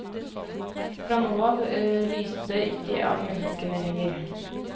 Fra nå av lyste det ikke av menneskene lenger.